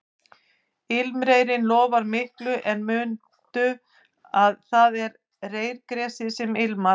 Ilmreyrinn lofar miklu en mundu að það er reyrgresið sem ilmar